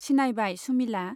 सिनायबाय सुमिला।